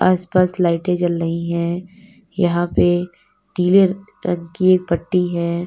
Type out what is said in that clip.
आसपास लाइटें जल रही हैं। यहां पे नीले रंग की एक पट्टी है।